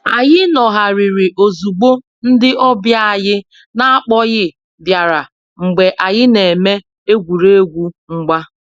Anyị nọgharịrị ozugbo ndị ọbịa anyị n'akpoghi biara mgbe anyị na-eme egwuregwu mgba